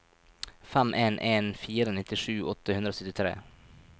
fem en en fire nittisju åtte hundre og syttitre